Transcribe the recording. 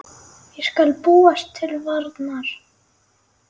Ég skal búast til varnar.